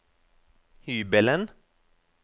hybelen